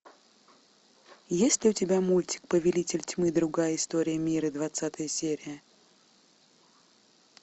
есть ли у тебя мультик повелитель тьмы другая история мира двадцатая серия